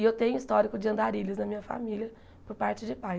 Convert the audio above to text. E eu tenho histórico de andarilhos na minha família por parte de pai.